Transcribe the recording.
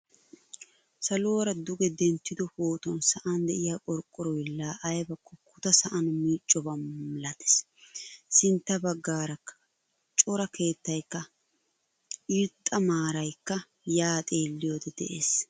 Saluwaara duge denttido pootuwan sa'an deiya qorqoroy la aybako kuta sa'an miccoba milatees. Sintta baggarakka cora keettaykka irxxa maaraaykka ya xeeliyode de'ees.